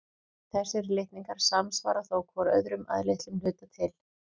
Þessir litningar samsvara þó hvor öðrum að litlum hluta til.